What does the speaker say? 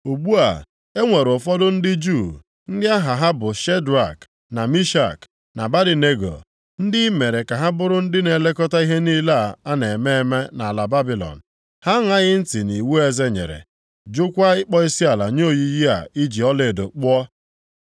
Ugbu a, e nwere ụfọdụ ndị Juu, ndị aha ha bụ Shedrak, na Mishak na Abednego, ndị i mere ka ha bụrụ ndị na-elekọta ihe niile a na-eme eme nʼala Babilọn; ha aṅaghị ntị nʼiwu eze nyere, jụkwa ịkpọ isiala nye oyiyi a i ji ọlaedo kpụọ.”